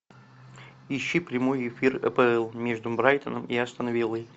ищи прямой эфир апл между брайтоном и астон виллой